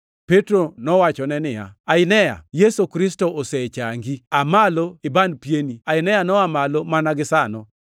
Petro nowachone niya, “Ainea, Yesu Kristo osechangi; aa malo iban pieni.” Ainea noa malo mana gisano.